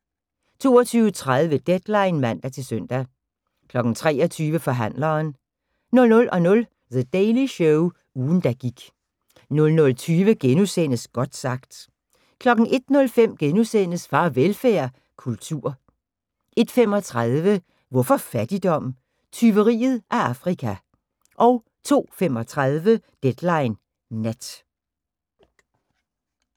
22:30: Deadline (man-søn) 23:00: Forhandleren 00:00: The Daily Show – ugen der gik 00:20: Godt sagt * 01:05: Farvelfærd: Kultur * 01:35: Hvorfor fattigdom? – Tyveriet af Afrika 02:35: Deadline Nat